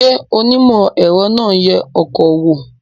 Ṣé onímọ̀-ẹ̀rọ náà ń yẹ ọkọ̀ wò